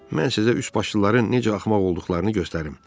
Mən sizə üçbaşlıların necə axmaq olduqlarını göstərim.